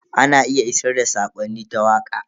Ana iya isar da sakonni ta waka.